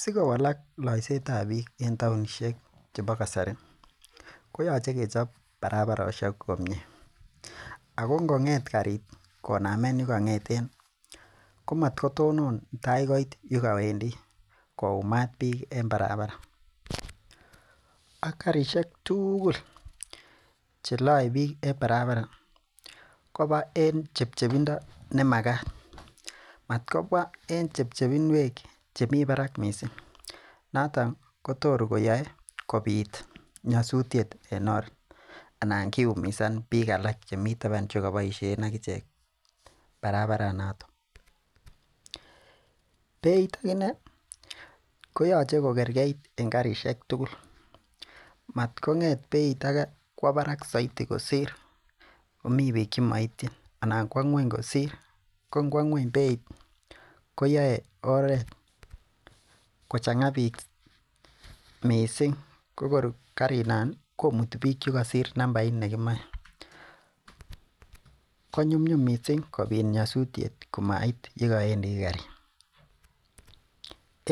Sikowalak loisiet ab biik en taonisiek chebo kasari ko yoche kechob barabarosiek komie ako ngo ngeet karit konamen yekong'eten komatkotonon tai koit yekowendii koyumat biik en barabara ak karisiek tugul cheloe biik en barabara koba en chepchepindo nemakat, matkoba en chepchepinwek chemii barak missing noton kotor koyoe kobit nyosutiet en or ana kiumisan biik alak chemii taban chekoboisien ak ichek barabaranoton. Beit akinee koyoche kokorkeit en karisiek tugul, matkonge'et beit ake kwo barak soiti kosir yemii biik chemoityin anan kwo ng'weny soiti kosir ko ngwo ng'weny beit koyoe oret kachang'a biik missing ko kor karinon ih komuti biik chekosir nambait nekimoe konyumnyum missing kobit nyosutiet komait yekowendii karit.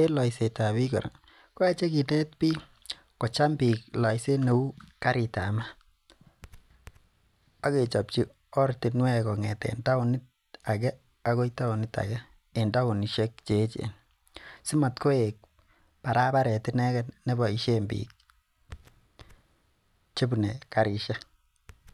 En loiset ab biik kora koyoche kinet biik kocham biik loiset neu karit ab maat ak kechopchi ortinwek kong'eten taonit age akoi taonit age kong'eten taonisiek cheechen si mat koek barabaret ineken neboisien biik chebune karisiek.